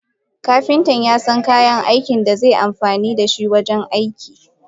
Kapinta yasan kayan da zeyi amfanida shi wajen aiki.